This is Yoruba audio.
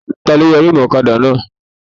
Taló yọ rímùù ọ̀kadà náà?